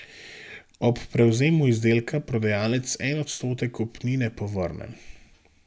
Ob prevzemu izdelka prodajalec en odstotek kupnine povrne.